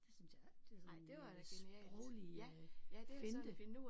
Det synes jeg det er sådan en sproglig finte